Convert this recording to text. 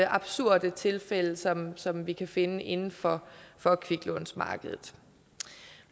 absurde tilfælde som som vi kan finde inden for for kviklånsmarkedet